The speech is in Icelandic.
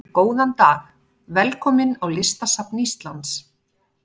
Góðan dag. Velkomin á Listasafn Íslands.